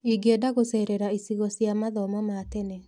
Ingĩenda gũcerera icigo cia mathomo ma tene.